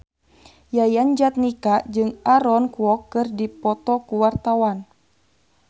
Yayan Jatnika jeung Aaron Kwok keur dipoto ku wartawan